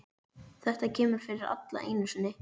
Þetta kemur fyrir alla einu sinni.